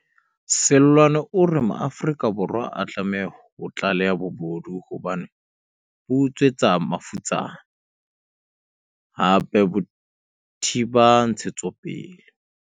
Seloane o re Maafrika Borwa a tlameha ho tlaleha bobodu hobane bo utswetsa mafutsana, hape bo thiba ntshetsopele.